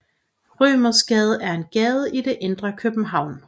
Rømersgade er en gade i det indre København